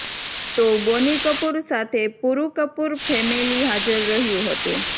તો બોનિ કપૂર સાથે પુરૂ કપૂર ફેમિલિ હાજર રહ્યુ હતુ